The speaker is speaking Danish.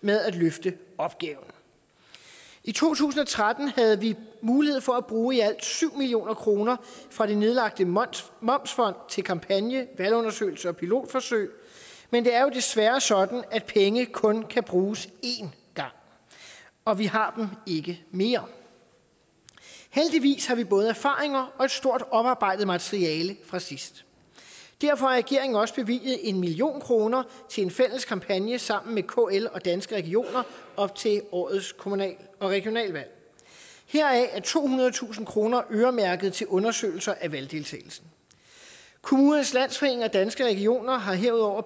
med at løfte opgaven i to tusind og tretten havde vi mulighed for at bruge i alt syv million kroner fra det nedlagte momsfond momsfond til kampagne valgundersøgelser og pilotforsøg men det er jo desværre sådan at penge kun kan bruges én gang og vi har ikke mere heldigvis har vi både erfaringer og et stort oparbejdet materiale fra sidst derfor har regeringen også bevilget en million kroner til en fælles kampagne sammen med kl og danske regioner op til årets kommunal og regionalvalg heraf er tohundredetusind kroner øremærket til undersøgelser af valgdeltagelsen kommunernes landsforening og danske regioner har herudover